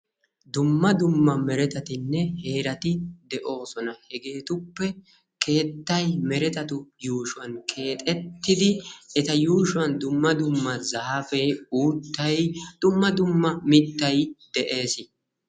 dumma dumma neretetinne heerati de'oosona hegetuppe keettay meretetu yuushshuwan keexxetidi eta yuushshuwan dumma dumma zaafe uuttay dumma duma mittay de'ees.